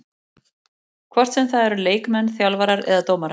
Hvort sem það eru leikmenn, þjálfarar eða dómarar.